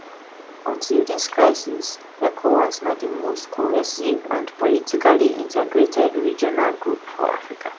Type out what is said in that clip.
until dis crisis ecowas na di most cohesive and politically integrated regional group for africa